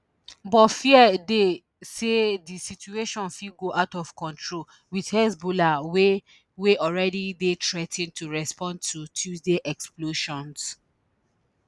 but fears dey say di situation fit go out of control with hezbollah wey wey already dey threa ten to respond to tuesday explosions